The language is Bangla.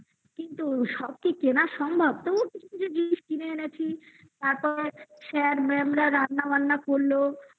কিন্তু সব কি কেনা সম্ভব? তবুও কিছু কিছু জিনিস কিনে এনেছি তারপর sir ma'am -রা রান্নাবান্না করলো